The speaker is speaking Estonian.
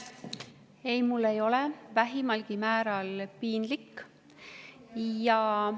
Ei, mul ei ole vähimalgi määral piinlik.